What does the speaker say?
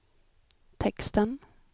texten